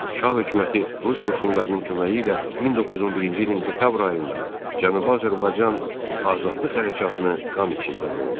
Şah hökuməti rus qoşunlarının köməyi ilə 1911-ci ilin dekabr ayında Cənubi Azərbaycan azadlıq hərəkatını qan içində boğdu.